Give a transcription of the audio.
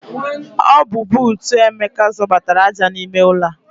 Ọ bu bootu Emeka zọbatara aja n'ime ụlọ a.